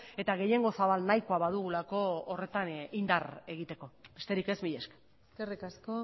eta gehiengo zabal nahikoa badugulako horretan indar egiteko besterik ez mila esker eskerrik asko